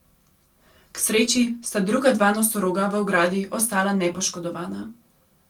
K sreči sta druga dva nosoroga v ogradi ostala nepoškodovana.